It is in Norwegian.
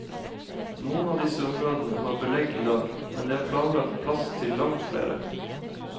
Noen av disse områdene har belegg i dag, men det er planlagt plass til langt flere.